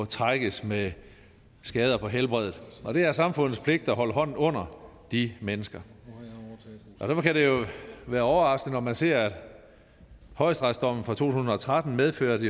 trækkes med skader på helbredet det er samfundets pligt at holde hånden under de mennesker derfor kan det jo være overraskende når man ser at højesteretsdommen fra to tusind og tretten medførte